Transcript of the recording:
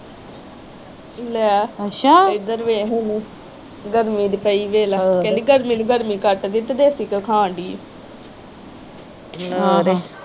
ਲੈ ਇਧਰ ਵੇਖ ਇਹਨੂੰ ਗਰਮੀ ਦੀ ਪਈ ਵੇਖਲਾ ਕਹਿੰਦੀ ਗਰਮੀ ਨੂੰ ਗਰਮੀ ਕੱਟਦੀ ਤੇ ਦੇਸੀ ਘਿਓ ਖਾਂਦੀ ਊ